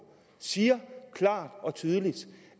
siger klart og tydeligt